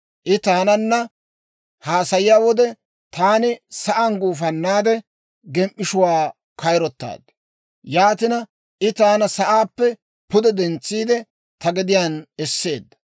I taananna haasayiyaa wode, taani sa'aan gufannaade, gem"ishshuwaa kayirotaad. Yaatina, I taana sa'aappe pude dentsiide, ta gediyaan esseedda.